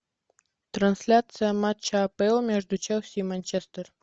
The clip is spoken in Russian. трансляция матча апл между челси и манчестер